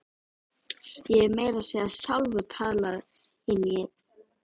Ég hef meira að segja sjálfur talað inn í einn.